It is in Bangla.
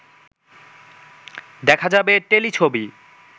দেখা যাবে টেলিছবি